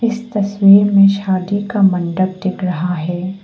इस तस्वीर में शादी का मंडप दिख रहा है।